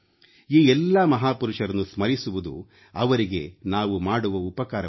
ಈ ಎಲ್ಲಾ ಮಹಾಪುರುಷರನ್ನು ಸ್ಮರಿಸುವುದು ಅವರಿಗೆ ನಾವು ಮಾಡುವ ಉಪಕಾರವಲ್ಲ